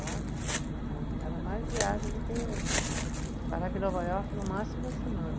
Lá era era mais viagem do que, eu parava em Nova Iorque no máximo uma semana.